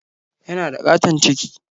Yana da ƙaton ciki.